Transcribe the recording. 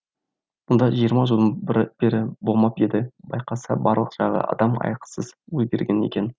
мұнда жиырма жыл бері болмап еді байқаса барлық жағы адам айтқысыз өзгерген екен